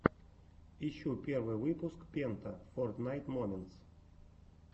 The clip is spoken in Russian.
ищи первый выпуск пента фортнайт моментс